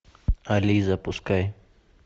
али запускай